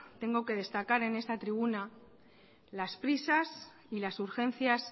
tengo que destacar en esta tribuna las prisas y las urgencias